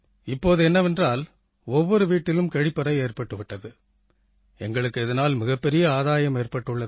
இப்போது என்னவென்றால் ஒவ்வொரு வீட்டிலும் கழிப்பறை ஏற்பட்டு விட்டது எங்களுக்கு இதனால் மிகப்பெரிய ஆதாயம் ஏற்பட்டிருக்கிறது